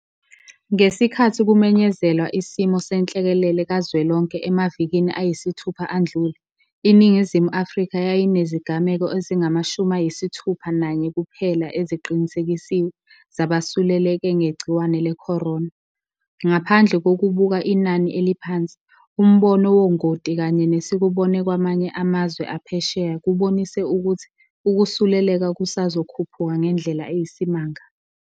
Ngesikhathi kumenyezelwa isimo senhlekelele kazwelonke emavikini ayisithupha adlule, iNingizimu Afrika yayinezigameko ezingama-61 kuphela eziqinisekisiwe zabasuleleke ngegciwane le-corona. Ngaphandle kokubuka inani eliphansi, umbono wongoti kanye nesikubone kwamanye amazwe aphesheya kubonise ukuthi ukusuleleka kusazokhuphuka ngendlela eyisimanga.